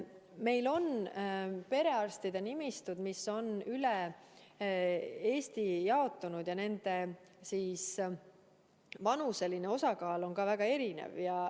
Meil on perearstide nimistutes üle Eesti eri vanuste osakaal väga erinev.